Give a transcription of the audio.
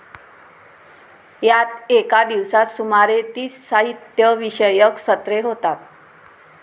यात एका दिवसात सुमारे तीस साहित्य विषयक सत्रे होतात.